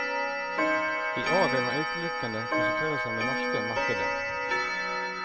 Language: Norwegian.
I år vil man utelukkende konsentrere seg om det norske markedet.